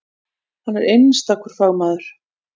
Hann er einstakur fagmaður.